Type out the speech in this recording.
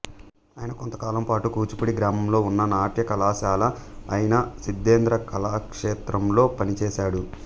ఆయన కొంతకాలం పాటు కూచిపూడి గ్రామంలో ఉన్న నాట్యకళాశాల అయిన సిద్ధేంద్ర కళాక్షేత్రం లో పనిచేసాడు